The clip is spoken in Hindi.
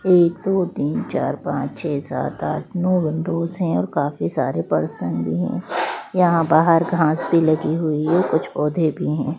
एक दो तीन चार पांच छः सात आठ नौ विंडोज़ हैं और काफी सारे पर्सन भी हैं। यहाँ बाहर घास भी लगी हुई है कुछ पौधे भी हैं।